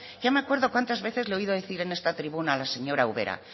ya me acuerdo cuantas veces le he oído decir en esta tribuna a la señora ubera